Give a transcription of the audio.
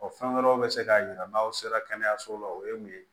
fɛn wɛrɛw bɛ se k'a jira n'aw sera kɛnɛyaso la o ye mun ye